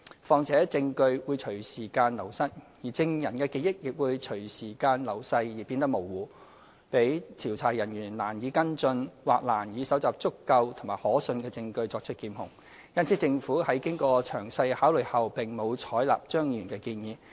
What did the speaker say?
況且，證據會隨時間流失，證人的記憶亦會隨着時間流逝而變得模糊，讓調查人員難以跟進或難以搜集足夠和可信的證據作出檢控，因此政府在經過詳細考慮後並無採納張議員的建議。